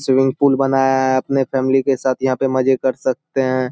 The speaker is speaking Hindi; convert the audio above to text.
स्विमिंग पूल बनाया है। अपने फैमली के साथ यहाँ पे मजे कर सकते हैं।